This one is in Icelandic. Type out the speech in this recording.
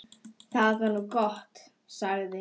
Það var nú gott, sagði